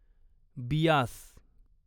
Beas